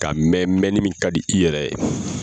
Ka mɛn mɛnli min ka di i yɛrɛ ye.